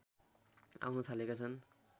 आउन थालेका छन्